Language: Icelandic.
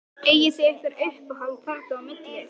Eigið þið ykkur uppáhald þarna á milli?